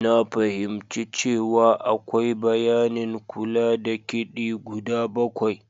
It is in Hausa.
Na fahimci cewa akwai bayanin kula da kidi guda bakwai.